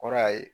Kɔrɔ y'a ye